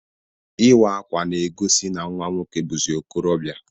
Ịwa akwa na egosi na nwa nwoke buzi ọkorobia.